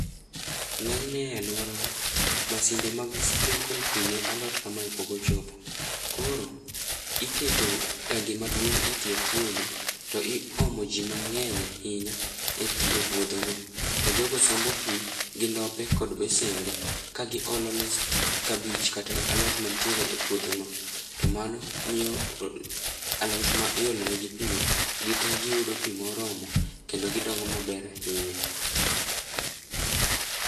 Ng'enyne e alworawa, masinde mag sprinkle pi ne alot kamae pok ochopo, koro iketo tangi maduong' e tie puodho to iomo ji mang'eny ahinya e puodhono to jogo sombo pi gi ndope kod besende kagiolone kabich kata alot mantiere e puodhono, to mano miyo alot ma iolonegi pi go gite giyudo pi moromo kendo gidongo maber ahinya.